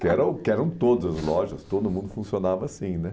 Que eram que eram todas as lojas, todo mundo funcionava assim, né?